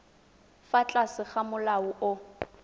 fa tlase ga molao o